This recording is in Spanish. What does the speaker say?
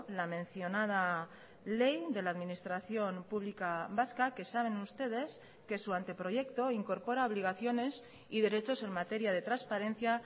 la mencionada ley de la administración pública vasca que saben ustedes que su anteproyecto incorpora obligaciones y derechos en materia de transparencia